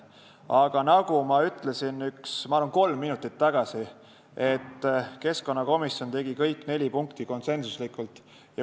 Aga nagu ma ütlesin, ma arvan, kolm minutit tagasi, keskkonnakomisjon otsustas kõik neli punkti konsensuslikult.